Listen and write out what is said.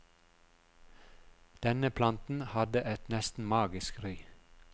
Denne planten hadde et nesten magisk ry.